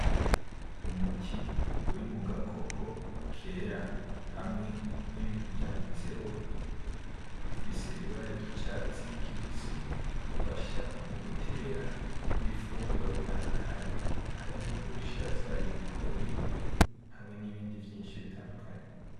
Umuti uri mugakopo kera hamwe n'ibintu vyanditseho bifise Ibara ry'icatsi kibisi gifasha mugutera ibifungurwa bitandukanye harimwo Ubushaza ,Ibigori, hamwe n'ibindi vyinshi bitandukanye.